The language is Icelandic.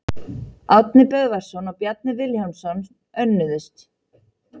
Árni Böðvarsson og Bjarni Vilhjálmsson önnuðust.